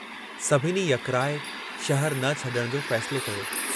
सभिनी यकराइ शहरु न छडण जो फ़ैसिलो कयो।